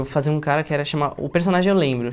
Eu fazia um cara que era chamado... O personagem eu lembro.